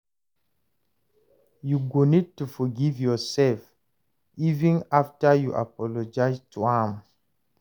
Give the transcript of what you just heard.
You go need to forgive yoursef, even afta you apologize to am